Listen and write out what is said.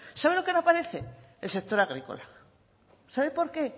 sabe lo que no aparece el sector agrícola sabe por qué